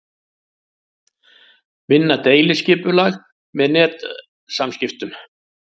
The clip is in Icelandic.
Vinna deiliskipulag með netsamskiptum